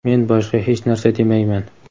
Men boshqa hech narsa demayman.